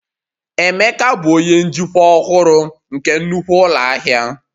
Emeka bụ onye njikwa ọhụrụ nke nnukwu ụlọ ahịa